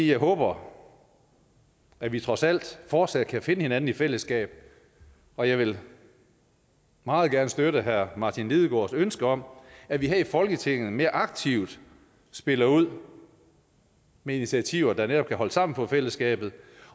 jeg håber at vi trods alt fortsat kan finde hinanden i fællesskab og jeg vil meget gerne støtte herre martin lidegaards ønske om at vi her i folketinget mere aktivt spiller ud med initiativer der netop kan holde sammen på fællesskabet